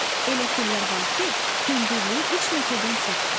Elə fillər var ki, hündürlüyü 3 metrdən çoxdur.